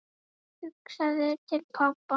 Hugsaði til pabba.